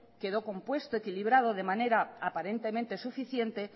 quedó compuesto equilibrado de manera aparentemente suficiente